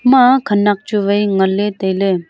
ema khanak chuwai nganley tailey.